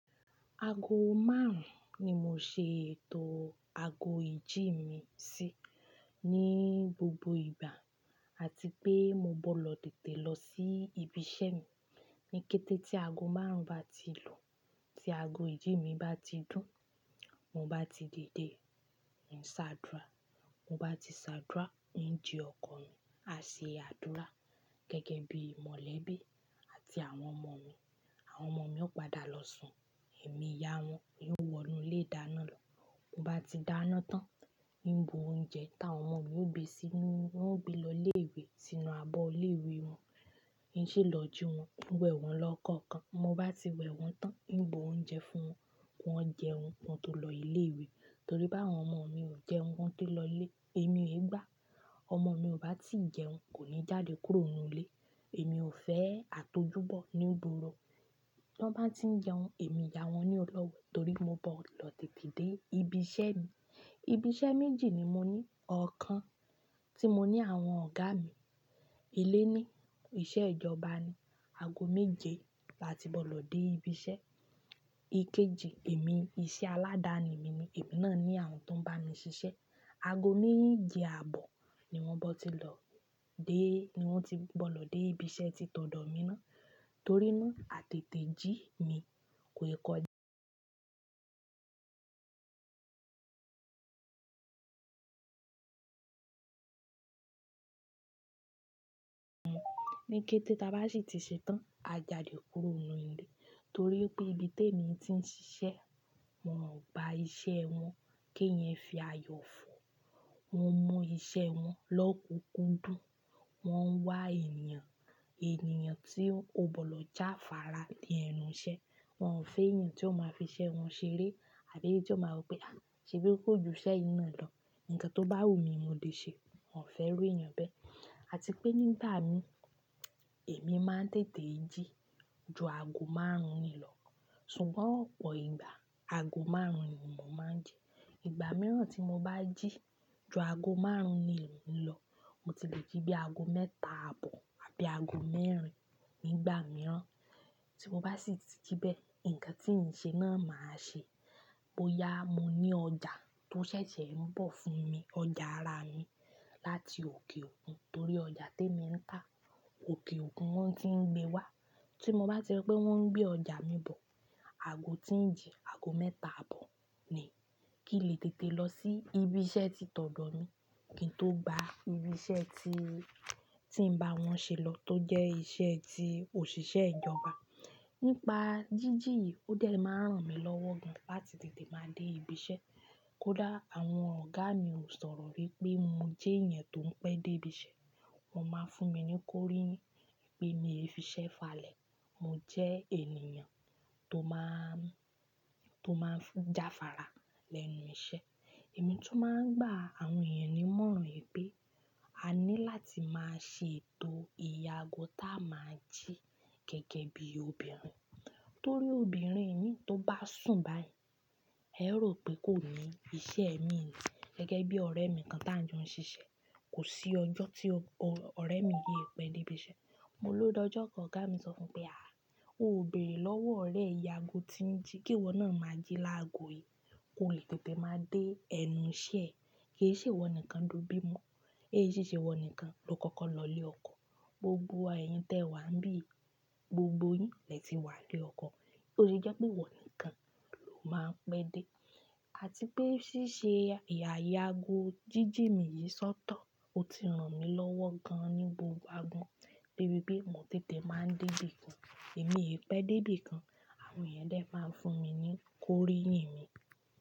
Aago márùn-ún ni mo ṣe ètò aago ìjí mi sí ní gbogbo ìgbà àti pé mo bọ̀ lọ tètè lọ sí ibi iṣẹ́ mi. Ni kété tí aago márùn-ún bá ti lu, tí aago ìjí mi bá ti dùn, mo bá ti dide ń ṣàdúrà. Mo bá ti ṣàdúrà, ń ji ọkọ̀ mi, á ṣe àdúrà gẹ́gẹ́ bí mọ̀lẹ́bí àti àwọn ọmọ mi. Àwọn ọmọ mi ó padà lọ sùn, èmi ìyá wọn ni ó wọ inú ilé ìdáná lọ. Mo bá ti dáná tán, ń bu oúnjẹ táwọn ọmọ mi ó gbé sí inú, wọ́n ó gbé lọ ilé ìwé sínú abọ́ ilé ìwé wọn, ń ṣèlọ́jú wọn, n wẹ̀ wọ́n lọ kọ̀ọ̀kan. Mo bá ti wẹ̀ wọ́n tán, ń bu oúnjẹ fún wọn, wọ́n jẹun, wọn tó lọ ilé ìwé. Torí bá àwọn ọmọ mi ò jẹun, wọ́n tó lọ ilé, èmi ègbá. Ọmọ mi ò bá ti jẹun kò ní jáde kúrò nínú ilé. Èmi ò fẹ́ àtojúbọ̀ ní gboro To n bá ti ń jẹun, èmi ìyá wọn ni ó lọ́wẹ̀ torí mo bọ̀ lọ tètè dé ibi iṣẹ́ mi. Ibi iṣẹ́ méjì ni mo ní. Ọ̀kan tí mo ní àwọn ọ̀gá mi. Ilé ni, iṣẹ́ ìjọba ni. Aago méje là tí bọ̀ lọ dé ibi iṣẹ́. Ikeji èmi, iṣẹ́ aládàáni mi ni, èmi náà ni àwọn tó ń bá mi ṣiṣẹ́. Aago méjì àbọ̀ ni wọ́n bọ́ ti lọ dé, ni wọ́n ti bọ́ lọ dé ibi iṣẹ́ ti tọ̀dọ̀ mi ná. Torí ná, àtètè jí mi kò ì kọjá. Ni kété táa bá sì ti ṣetán, a jáde kúrò nínú ilé torí pé ibi tẹ mi ti ń ṣiṣẹ́, wọ́n ò bá iṣẹ́ wọn kí èèyàn fi ayọ̀ fò. Wọ́n mú iṣẹ́ wọn lọ́kùnkúndùn, wọ́n ń wá ènìyàn, ènìyàn tí ó bọ̀ lọ jáfára lẹ́nu iṣẹ́. Wọn ò fẹ́ èèyàn tí ó máa fi iṣẹ́ wọn ṣeré àbí tí ó máa wí pé, "à, ṣé bí kò ju iṣẹ́ yìí ná lọ" Nǹkan tó bá wù mí, mo lè ṣe. Wọn ò fẹ́ rí èèyàn bẹ́. Àti pé nígbà mi, èmi máa ń tètè jí ju aago márùn-ún ni lọ. Ṣùgbọ́n ọ̀pọ̀ ìgbà aago márùn-ún ni mò máa ń ji Ìgbà mìíràn tí mo bá jí ju aago márùn-ún ni lò ń lọ, mo ti lè jí bí aago mẹ́ta àbọ̀ àbí aago mẹ́rin nígbà mìíràn. Tí mo bá sì ti jí bẹ́ẹ̀, nǹkan tí ń ṣe náà màá ṣe. Bo yá, mo ní ọjà tó ṣẹ̀ṣẹ̀ ń bọ̀ fún mi, ọjà ara mi láti òkè òkun torí ọjà tí èmi ń tà, òkè òkun wọ́n ti ń gbé wá. Tí mo bá ti rí pé wọ́n ń gbé ọjà mi bọ̀, aago tí ń jí aago mẹ́ta àbọ̀ ni kí lè tètè lọ sí ibi iṣẹ́ tí tọ̀dọ̀ mi, kí n tó gba ibi iṣẹ́ tí, tí ń bá wọn ṣe lọ tó jẹ́ iṣẹ́ tí òṣìṣẹ́ ìjọba. Nípa jíjì yìí ó dẹ̀ máa ń ràn mí lọ́wọ́ gan-an láti tètè máa dé ibi iṣẹ́. Kódà àwọn ọ̀gá mi ò sọ̀rọ̀ rí pé mo jẹ́ èèyàn tó ń pẹ́ dé ibi iṣẹ́, wọ́n máa ń fún mi ní kóríyìn pé ni èéfisẹ́ falẹ̀. Mo jẹ́ ènìyàn tó máa ń, tó máa ń fún jáfára lẹ́nu iṣẹ́. Èmi tun máa ń gbà àwọn èèyàn ní ìmọ̀ràn pé a ní láti máa ṣe ètò ìye aago táa máa ń jí gẹ́gẹ́ bí obìnrin. Torí obìnrin mí tó bá sùn báyìí, ẹ ó rò pé kò ní iṣẹ́ emi ni gẹ́gẹ́ bí ọ̀rẹ́ mi kan tí àń jọ ń ṣiṣẹ́. Kò sí ọjọ́ tí ọ̀rẹ́ mi yìí ò pẹ́ dé ibi iṣẹ́. Mo ló dọ́jọ́ kan ọ̀gá mi sọ fún pé, "à, oò bẹ̀rẹ̀ lọ́wọ́ ọ̀rẹ́ ìye aago tí ń jí kí ìwọ náà máa jí lágo yìí. Kò lè tètè máa dé ẹnu iṣẹ́ ẹ. Kì í ṣe ìwọ nìkan tó bí'mọ́, è sì ṣe ìwọ nìkan ló kọ́kọ́ lọ ilé ọkọ. Gbogbo wa èèyin tẹ wà ń bì, gbogbo yín lè ti wá n ilé ọkọ. Kí ló ṣe jẹ́ pé ìwọ nìkan ló máa ń pẹ́ dé?" Àti pé ṣíṣe ìyà aago jíjì mi yìí sọ́tọ̀, ó ti ràn mí lọ́wọ́ gan-an ní gbogbo àgbọ́n. De bi pẹ́ mo tètè máa ń dé ibi kan, èmi è pẹ́ dé ibi kan, àwọn èèyàn dè máa ń fún mi ní kóríyìn mi.